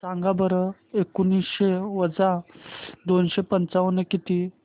सांगा बरं एकोणीसशे वजा दोनशे पंचावन्न किती